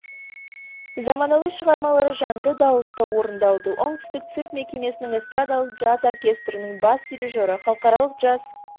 заманауи шығармалары жанды дауыста орындалды оңтүстік цирк мекемесінің эстрадалық джаз оркестрінің бас дирижеры халықаралық джаз